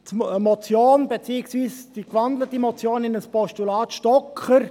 Zur Motion, beziehungsweise der in ein Postulat gewandelten Motion Stocker: